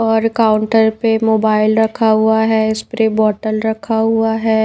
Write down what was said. और काउंटर पे मोबाइल रखा हुआ है स्प्रे बोतल रखा हुआ है।